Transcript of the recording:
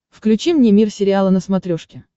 включи мне мир сериала на смотрешке